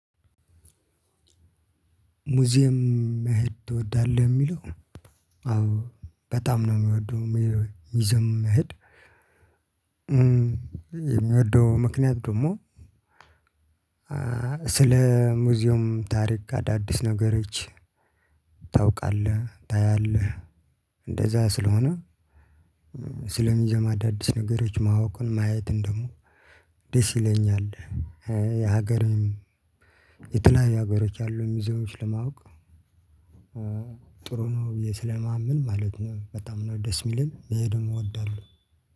ሙዚየም መሄድ ትወዳለህ የሚለው? አዎ በጣም ነው የምወደው ሙዚየም መሄድ። የምወደው ምክንያት ደግሞ ስለ ሙዚየም ታሪክ አዳዲስ ነገሮች። ታውቃለህ፣ ታያለህ እንደዛ ስለሆነ። ስለ ሙዚየም አዳዲስ ነገሮች ማወቅም ማየትም ደግሞ ደስ ይለኛል። የሀገርን የተለያዩ ሀገሮች አሉ ሙዚየሞች ለማወቅ። ጥሩም ውዬ ስለማምን ማለት ነው። በጣም ነው ደስ የሚለኝ በደንብ እወዳለሁ።